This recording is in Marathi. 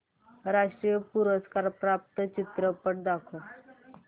राष्ट्रीय पुरस्कार प्राप्त चित्रपट दाखव